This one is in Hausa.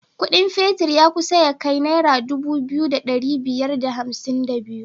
Ƙudin fetir ya kusa ya kai naira Dubu biyu da dari daya da hamsin da biyu